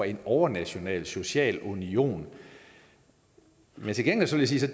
en overnational social union men til gengæld vil jeg